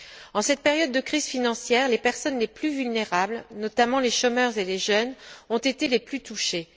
En cette période de crise financière, les personnes les plus vulnérables, notamment les chômeurs et les jeunes, ont été les plus touchées.